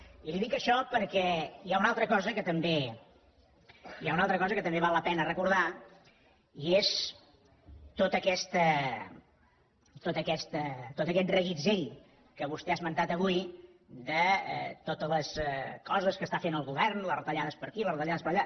i li dic això perquè hi ha una altra cosa que també val la pena recordar i és tot aquest reguitzell que vostè ha esmentat avui de totes les coses que està fent el govern les retallades per aquí les retallades per allà